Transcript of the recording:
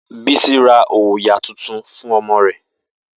Bisi ra òyà tuntun fún ọmọ rẹ̀